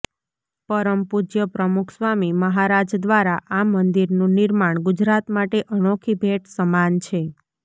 પરમ પૂજ્ય પ્રમુખસ્વામી મહારાજ દ્વારા આ મંદિરનું નિર્માણ ગુજરાત માટે અનોખી ભેટ સમાન છે